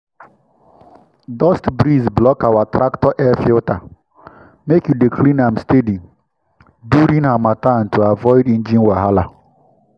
dust breeze block our tractor air filter—make you dey clean am steady during harmattan to avoid engine wahala.